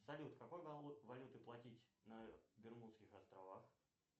салют какой валютой платить на бермудских островах